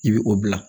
I bɛ o bila